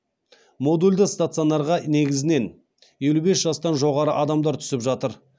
модульді стационарға негізінен елу бес жастан жоғары адамдар түсіп жатыр